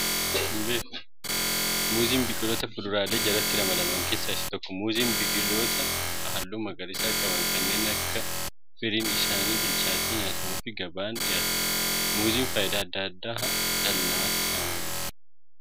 Muuziin biqiloota fuduraalee jalatti ramadaman keessaa isa tokko. Muuziin biqiloota halluu magariisaa qaban kanneen yeroo firiin isaanii bilchaatee nyaatamuu fi gabaaf dhihaatudha. Muuziin fayidaa addaa addaa dhala namatiif kan ooludha